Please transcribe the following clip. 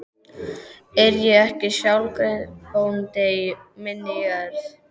Er ég ekki sjálfseignarbóndi á minni jörð?